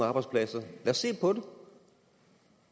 arbejdspladser lad os se på det